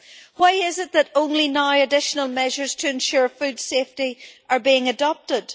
Why is it that only now additional measures to ensure food safety are being adopted?